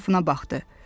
Ətrafına baxdı.